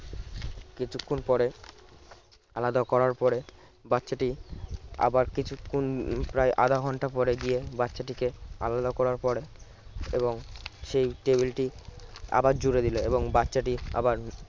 কিছুক্ষণ পরে আলাদা করার পরে বাচ্চাটি আবার কিছুক্ষণ প্রায় আধা ঘন্টা পরে গিয়ে বাচ্চাটিকে আলাদা করার পরে এবং সেই টেবিলটি আবার জুড়ে দিলো এবং বাচ্চাটি আবার